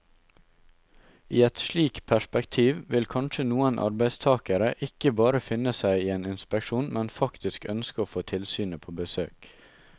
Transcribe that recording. I et slikt perspektiv vil kanskje noen arbeidstagere ikke bare finne seg i en inspeksjon, men faktisk ønske å få tilsynet på besøk.